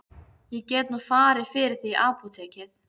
Ég get nú farið fyrir þig í apótekið.